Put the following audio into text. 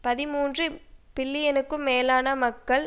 பதிமூன்று பில்லியனுக்கும் மேலான மக்கள்